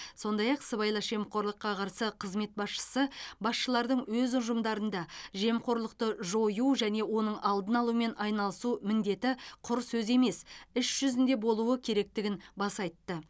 сондай ақ сыбайлас жемқорлыққа қарсы қызмет басшысы басшылардың өз ұжымдарында жемқорлықты жою және оның алдын алумен айналысу міндеті құр сөз емес іс жүзінде болуы керектігін баса айтты